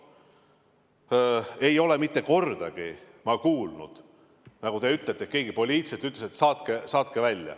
Ma ei ole mitte kordagi kuulnud, et keegi poliitiliselt mõjutades ütles, et saatke nad välja.